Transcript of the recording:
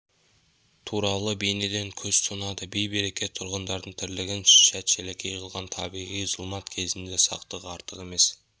туралы бейнеден көз тұнады бей-берекет тұрғындардың тірлігін шәт-шәлекей қылған табиғи зұлмат кезінде сақтық артық емес